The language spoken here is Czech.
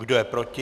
Kdo je proti?